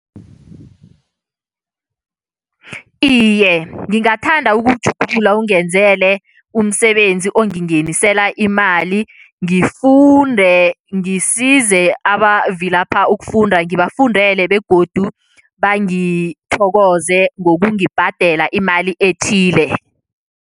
Iye, ngingathanda ukutjhuwugulula ungenzele umsebenzi ongingenisela imali. Ngifunde, ngisize abavilapha ukufunda, ngibafundele begodu bangithokoze ngokungibhadela imali ethile.